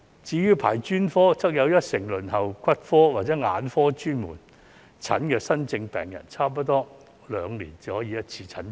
至於專科，有一成輪候骨科或眼科專科門診的新症病人，差不多兩年才可以診症一次。